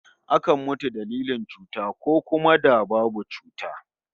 Akan mutu dalilin cuta, ko kuma da babu cuta